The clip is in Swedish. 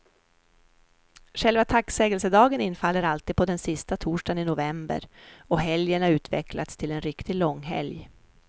Själva tacksägelsedagen infaller alltid på den sista torsdagen i november, och helgen har utvecklats till en riktig långhelg.